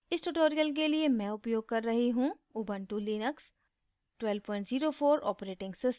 इस tutorial के लिए मैं उपयोग कर रही हूँ ऊबंटु लिनक्स 1204 operating system